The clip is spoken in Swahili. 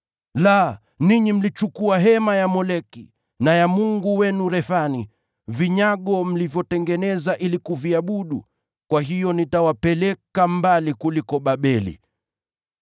La, ninyi mliinua madhabahu ya Moleki, na nyota ya mungu wenu Refani, vinyago mlivyotengeneza ili kuviabudu. Kwa hiyo nitawapeleka mbali’ kuliko Babeli.